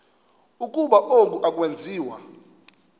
ukuba oku akwenziwa